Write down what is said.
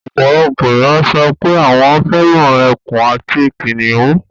Ọ̀pọ̀lọpọ̀ ènìyàn sọ pé àwọn fẹ́ràn ekùn àti kìnnìún